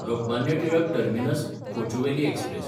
Lokmanya Tilak टर्मिनस–कोचुवेली express